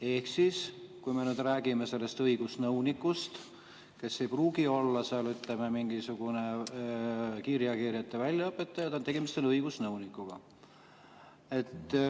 Ehk siis, me räägime sellest õigusnõunikust, kes ei pruugi olla seal, ütleme, mingisugune kiirreageerijate väljaõpetaja, tegemist on õigusnõunikuga.